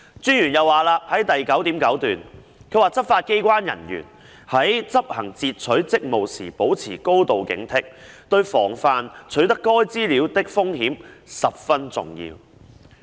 專員在報告第 9.9 段又指出，"執法機關人員在執行截取職務時保持高度警惕，對防範取得該資料的風險十分重要。